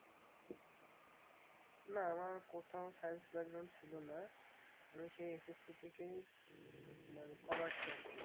না আমার কোথাও science ছিল না। আমি সেই এস এস সি থেকেই মানে কমার্স এ আছি।